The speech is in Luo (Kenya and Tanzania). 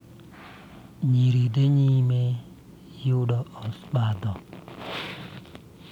Nyiri dhi nyime yudo obadho